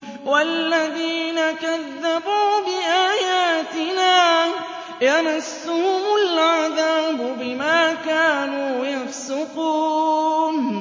وَالَّذِينَ كَذَّبُوا بِآيَاتِنَا يَمَسُّهُمُ الْعَذَابُ بِمَا كَانُوا يَفْسُقُونَ